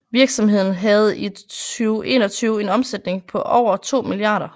Virksomheden havde i 2021 en omsætning på over 2 mia